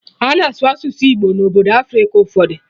Ana asụ asụsụ Igbo na obodo Africa ụfọdụ